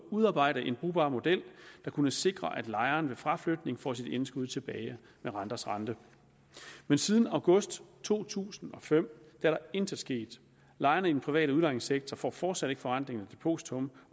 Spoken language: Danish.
udarbejde en brugbar model der kunne sikre at lejeren ved fraflytning får sit indskud tilbage med renters rente men siden august to tusind og fem er der intet sket lejerne i den private udlejningssektor får fortsat ikke forrentning af depositum